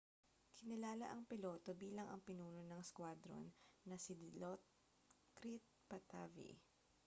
kinilala ang piloto bilang ang pinuno ng squadron na si dilokrit pattavee